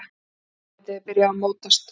Andlitið er byrjað að mótast.